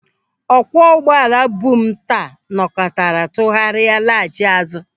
Ọkwọ ụgbọala bu m taa nọkatara tụgharịa laghachi azụ.